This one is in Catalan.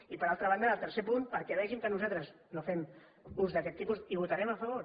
i per altra banda en el tercer punt perquè vegin que nosaltres no fem ús d’aquest tipus hi votarem a favor